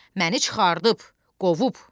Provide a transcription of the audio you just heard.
məni çıxardıb qovub.